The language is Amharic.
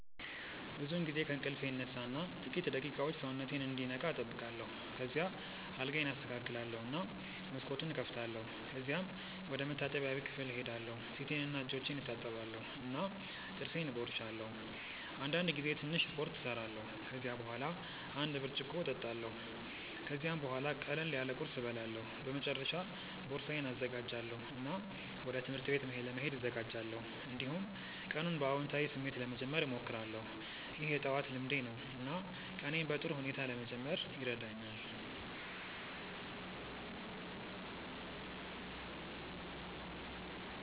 ብዙውን ጊዜ ከእንቅልፌ እነሳ እና ጥቂት ደቂቃዎች ሰውነቴን እንዲነቃ እጠብቃለሁ። ከዚያ አልጋዬን አስተካክላለሁ እና መስኮቱን እከፍታለሁ። ከዚያም ወደ መታጠቢያ ክፍል እሄዳለሁ ፊቴንና እጆቼን እታጠባለሁ እና ጥርሴን እቦርሳለሁ። አንዳንድ ጊዜ ትንሽ ስፖርት እሰራለሁ። ከዚያ በኋላ አንድ ብርጭቆ እጠጣለሁ። ከዚያም ቡሃላ ቅለል ያለ ቁርስ እበላለሁ። በመጨረሻ ቦርሳዬን እዘጋጃለሁ እና ወደ ትምህርት ቤት ለመሄድ እዘጋጃለሁ። እንዲሁም ቀኑን በአዎንታዊ ስሜት ለመጀመር እሞክራለሁ። ይህ የጠዋት ልምዴ ነው እና ቀኔን በጥሩ ሁኔታ ለመጀመር ይረዳኛል።